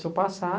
Se eu passar,